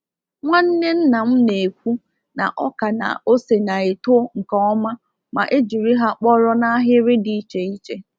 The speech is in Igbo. Nwanne-nna m na-ekwu na ọka na ose na-eto nke ọma ma e jiri ha kpọrọ n’ahịrị dị iche iche.